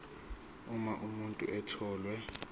uma umuntu etholwe